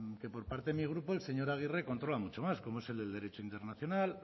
que por parte de mi grupo el señor aguirre controla mucho más como es el del derecho internacional